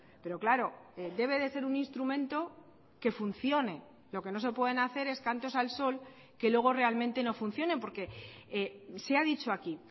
pero claro debe de ser un instrumento que funcione lo que no se pueden hacer es cantos al sol que luego realmente no funcionen porque se ha dicho aquí